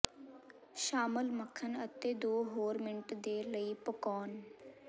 ਸ਼ਾਮਲ ਮੱਖਣ ਅਤੇ ਦੋ ਹੋਰ ਮਿੰਟ ਦੇ ਲਈ ਪਕਾਉਣ